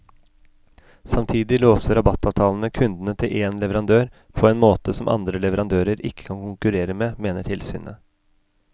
Samtidig låser rabattavtalene kundene til én leverandør på måte som andre leverandører ikke kan konkurrere med, mener tilsynet.